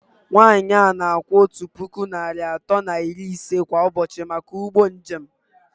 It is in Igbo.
Nwanyị a na-akwụ otu puku naịra atọ na iri ise kwa ụbọchị maka ụgbọ njem